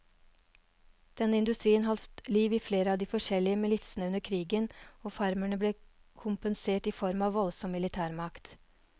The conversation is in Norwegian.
Denne industrien holdt liv i flere av de forskjellige militsene under krigen, og farmerne ble kompensert i form av voldsom militærmakt.